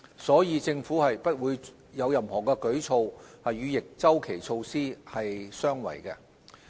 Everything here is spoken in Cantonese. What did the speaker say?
所以，政府不會有任何舉措，與逆周期措施相違。